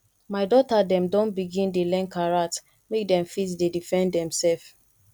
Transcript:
my dota dem don begin dey learn karate make dem fit dey defend demsef